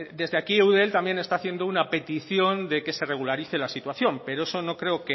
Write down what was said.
desde aquí eudel también está haciendo una petición de que se regularice la situación pero eso no creo